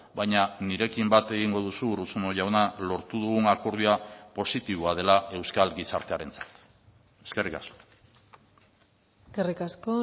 baina nirekin bat egingo duzu urruzuno jauna lortu dugun akordioa positiboa dela euskal gizartearentzat eskerrik asko eskerrik asko